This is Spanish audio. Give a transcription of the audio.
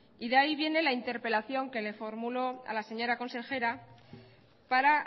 de ahí viene la interpelación que le formulo a la señora consejera para